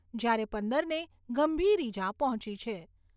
જ્યારે પંદરને ગંભીર ઇજા પહોંચી છે.